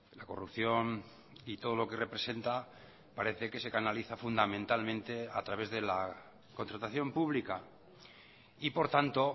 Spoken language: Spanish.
la corrupción y todo lo que representa parece que se canaliza fundamentalmente a través de la contratación pública y por tanto